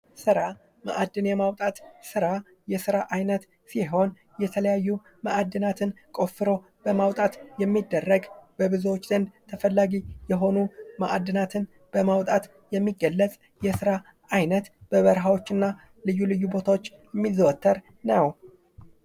ስራ ማዕድን የማውጣት ስራ የስራ አይነት ሲሆን የተለያዩ ማዕድናትን ቆፍሮ በማውጣት የሚደረግ በብዙዎች ዘድ ተፈላጊ የሆኑ ማዕድናትን በማውጣት የሚገለፅ የስራ አይ በበረሀዎችና ልዩ ልዩ ቦታዎች የሚዘወተር ነው።